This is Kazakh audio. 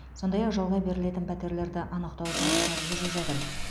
сондай ақ жалға берілетін пәтерлерді анықтау жұмыстары жүріп жатыр